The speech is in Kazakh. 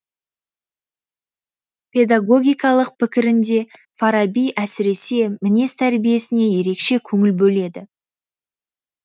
педагогикалық пікірінде фараби әсіресе мінез тәрбиесіне ерекше көңіл бөледі